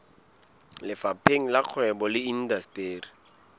lefapheng la kgwebo le indasteri